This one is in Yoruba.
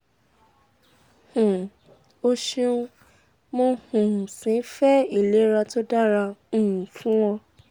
um o ṣeun mo um si n fe ilera to dara um fun o